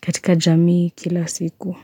katika jamii kila siku.